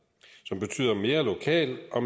som betyder mere lokal og